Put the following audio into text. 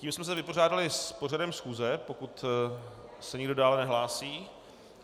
Tím jsme se vypořádali s pořadem schůze, pokud se nikdo dále nehlásí.